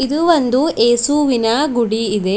ಇದು ಒಂದು ಯೇಸುವಿನ ಗುಡಿ ಇದೆ.